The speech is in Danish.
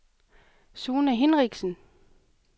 Sune Hinrichsen